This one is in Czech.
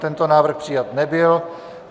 Tento návrh přijat nebyl.